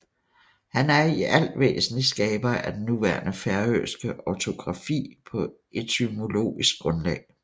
Han er i alt væsentligt skaber af den nuværende færøske ortografi på etymologisk grundlag